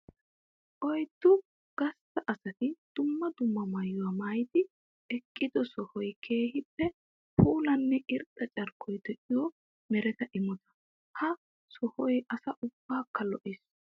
Oyddu gastta asatti dumma dumma maayuwa maayiddi eqiddo sohoy keehippe puulanne irxxa carkkoy de'iyo meretta imotta. Ha sohoy asaa ubbakka lo'ees.